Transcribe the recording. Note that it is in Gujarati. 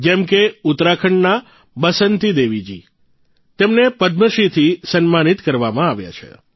જેમ કે ઉત્તરાખંડના બસંતી દેવીજીને પદ્મશ્રીથી સન્માનિત કરવામાં આવ્યા છે